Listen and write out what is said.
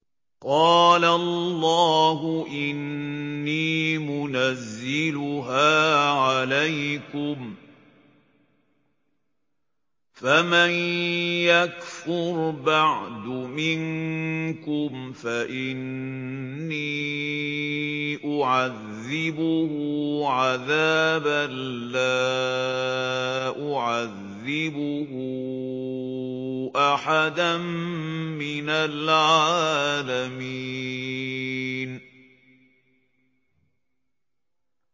قَالَ اللَّهُ إِنِّي مُنَزِّلُهَا عَلَيْكُمْ ۖ فَمَن يَكْفُرْ بَعْدُ مِنكُمْ فَإِنِّي أُعَذِّبُهُ عَذَابًا لَّا أُعَذِّبُهُ أَحَدًا مِّنَ الْعَالَمِينَ